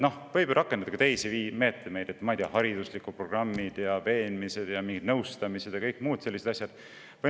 Võiks ju rakendada ka teisi meetmeid: hariduslikud programmid, veenmised, mingid nõustamised ja muud sellised asjad.